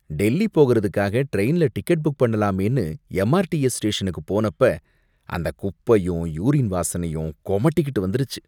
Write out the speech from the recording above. டெல்லி போகறதுக்காக ட்ரெயின்ல ticket book பண்ணலாமேனு எம்ஆர்டிஎஸ் ஸ்டேஷனுக்கு போனப்ப, அந்த குப்பையும் யூரின் வாசனையும் கொமட்டிகிட்டு வந்துருச்சு.